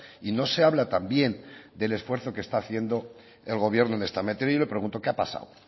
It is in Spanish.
y no se habla tan bien del esfuerzo que está haciendo el gobierno en esta materia y yo le pregunto qué ha pasado